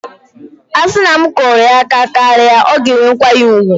A sị na m kụrụ ya aka karịa, ọ ga-enwe nkwanye ùgwù